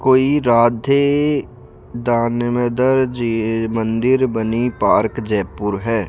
कोई राधे दानमोदर जी मंदिर बनी पार्क जयपुर है।